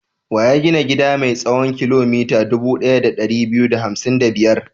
Wa ya gina gida mai tsawon kilomita dubu ɗaya da ɗari biyu da hamsin da biyar?